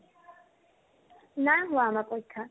নাই হোৱা আমাৰ পৰীক্ষা